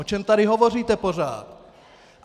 O čem tady hovoříte pořád?